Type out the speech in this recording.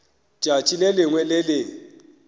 tšatši le lengwe le le